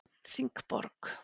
Þingborg